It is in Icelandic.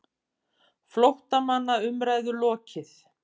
FLÓTTAMANNA UMRÆÐU LOKIÐ